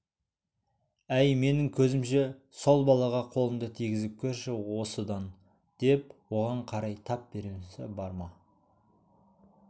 әй менің көзімше сол балаға қолыңды тигізіп көрші осыдан деп оған қарай тап бермесі бар ма